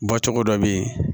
Bɔcogo dɔ bɛ ye